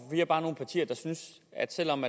vi er bare nogle partier der synes at selv om